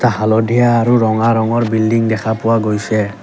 হালধীয়া আৰু ৰঙা ৰঙৰ বিল্ডিং দেখা পোৱা গৈছে।